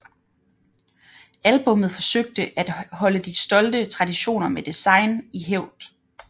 Albummet forsøgte at holde de stolte traditioner med design i hævd